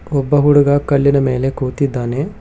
ಒಬ್ಬ ಹುಡಗ ಕಲ್ಲಿನ ಮೇಲೆ ಕೂತಿದ್ದಾನೆ